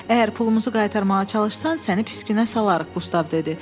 Əgər pulumuzu qaytarmağa çalışsan səni pis günə salarıq, Qustav dedi.